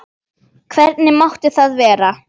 Hvernig mátti það vera?